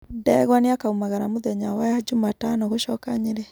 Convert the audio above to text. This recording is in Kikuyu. Ndegwa nĩakaumagara mũthenya wa njumatano gũcoka Nyeri